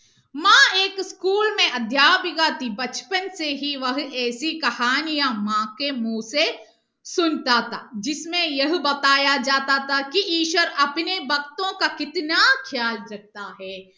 school അധ്യാപിക ഈശ്വർ